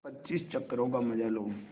पच्चीस चक्करों का मजा लो